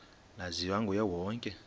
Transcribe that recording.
laziwa nguye wonke